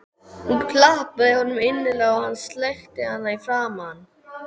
Hún klappaði honum innilega og hann sleikti hana í framan.